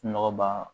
Nɔgɔ b'a